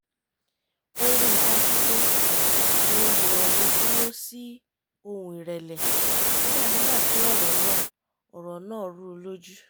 o rí i dájú pé ohùn òun dúró sí ohùn ìrẹ̀lẹ̀ kódà nígbà tí ọ̀rọ̀ náà ọ̀rọ̀ náà rú u lójú